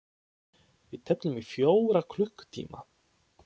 Við tefldum í fjóra klukkutíma!